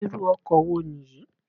Irú ọkọ wo Nìyí?